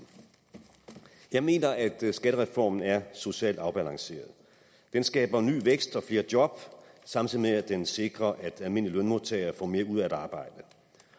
jeg mener at skattereformen er socialt afbalanceret den skaber ny vækst og flere job samtidig med at den sikrer at almindelige lønmodtagere får mere ud af at arbejde